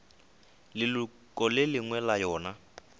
leloko le lengwe la yona